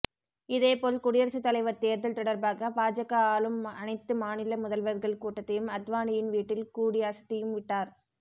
இதேபோல் குடியரசுத் தலைவர் தேர்தல் தொடர்பாக பாஜக ஆளும் அனைத்து மாநில முதல்வர்கள் கூட்டத்தையும் அத்வானியின் வீட்டில் கூடி அசத்தியும்விட்டார்